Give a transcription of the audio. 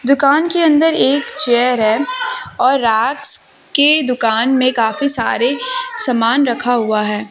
दुकान के अंदर एक चेयर है और राज के दुकान में काफी सारे सामान रखा हुआ है।